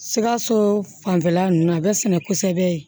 Sikaso fanfɛla nunnu a bɛ sɛnɛ kosɛbɛ